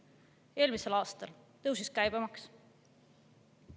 Eelmisel aastal tõusis käibemaks.